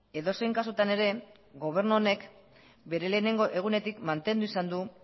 edozein kasutan ere gobernu honek bere lehenengo egunetik mantendu izan du